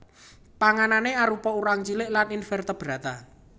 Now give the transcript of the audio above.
Panganané arupa urang cilik lan invertebrata